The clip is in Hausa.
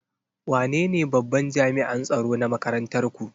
Wanene babban jami'an tsaro na makarantar ku?